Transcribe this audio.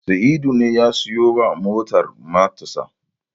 Sa'idu ne ya siyowa motar matarsa.